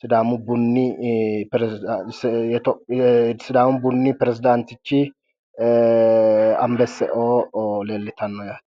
sidaamu buni peresidanitichi anibeseo leelitano yaate